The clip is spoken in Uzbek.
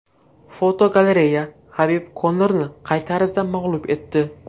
Fotogalereya: Habib Konorni qay tarzda mag‘lub etdi?.